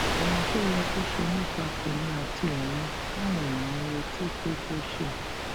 ohun tó yẹ kó ṣe nípa tèmí àti ohun táwọn èèyàn ń retí pé kó ṣe